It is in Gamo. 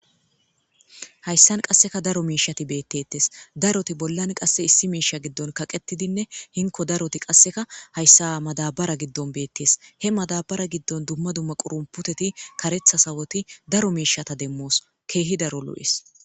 Haysan qaseka daro mishati beetetes. Daroti bollan ako eqa gidon kaqetidinne hanko daroti qase madabara gidon beetetes. He madabara gidon duma duma qurunputeti karetha sawoti daro miishata demos. Hezhu daro lo'es.